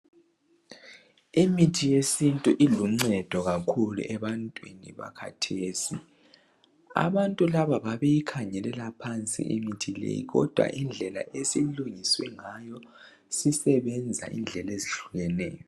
Imithi yesintu iluncedo kakhulu ebantwini bakhathesi abantu laba babeyikhangelela phansi imithi leyi kodwa indlela esilungiswe ngayo sisebenza indlela ezehlukeneyo.